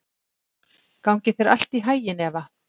Gangi þér allt í haginn, Eva.